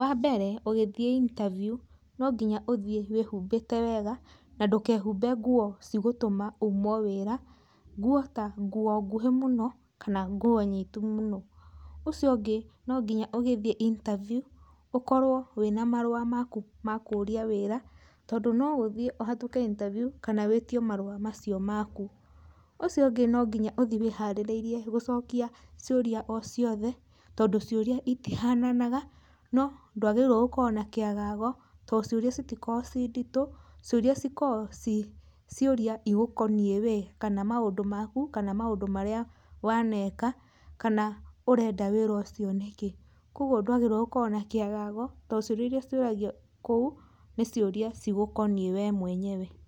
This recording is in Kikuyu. Wa mbere ũgĩthiĩ interview, no nginya ũthiĩ wĩhumbĩte wega na ndũkehumbe nguo cigũtũma umwo wĩra. Nguo ta nguo nguhĩ mũno, kana nguo nyitu mũno. Ucio ũngĩ no nginya ũgĩthiĩ interview, ũkorwo wĩ na marũa maku ma kũria wĩra, tondũ no ũthiĩ ũhatũke interview kana wĩtio marũa macio maku. Ũcio ũngĩ no nginya ũthiĩ wĩharĩrĩirie gũcokia ciũria o ciothe, tondũ ciũria itihananaga. No ndwagĩrĩirwo gũkorwo na kĩagago, tondũ ciũria itikoragwo ci nditũ. Ciũria cikoragwo ci ciũria igũkoniĩ we, kana maũndũ maku, kana maũndũ marĩa waneka, kana ũrenda wĩra ũcio nĩkĩ. Koguo dwagĩrĩirwo gũkorwo na kĩagago, tondũ ciũria iria ciũragio kũu, nĩ ciũria cigũkoniĩ we mwenyewe.